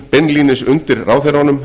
beinlínis undir ráðherranum